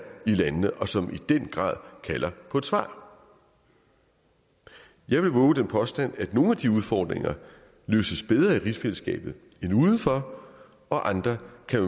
i landene og som i den grad kalder på et svar jeg vil vove den påstand at nogle af de udfordringer løses bedre i rigsfællesskabet end udenfor og at andre